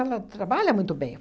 trabalha muito bem.